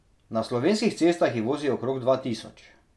Na slovenskih cestah jih vozi okrog dva tisoč.